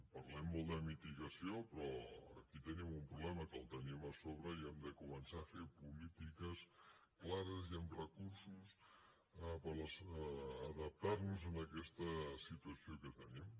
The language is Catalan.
parlem molt de mitigació però aquí tenim un problema que el tenim a sobre i hem de començar a fer polítiques clares i amb recursos per adaptarnos a aquesta situació que tenim